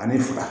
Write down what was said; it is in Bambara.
Ani fa